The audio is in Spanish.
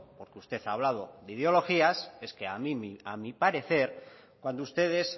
porque usted ha hablado de ideologías es que a mí a mi parecer cuando ustedes